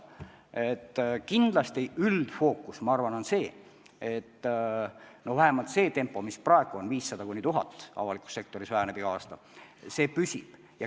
Aga kindlasti üldine fookus on see, et püsib tempo, mis praegu on: 500–1000 inimese võrra avalikus sektoris töötajate arv iga aasta väheneb.